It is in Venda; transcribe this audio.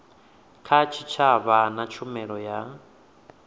kha tshitshavha na tshumelo ya